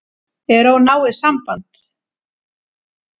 Er of náið samband?